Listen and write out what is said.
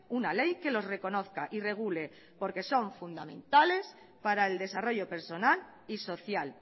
una ley que los reconozca y regule porque son fundamentales para el desarrollo personal y social